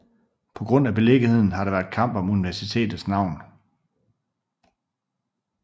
På grund af beliggenheden har der været kamp om universitetets navn